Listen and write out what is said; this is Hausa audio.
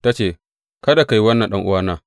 Ta ce, Kada ka yi wannan ɗan’uwana!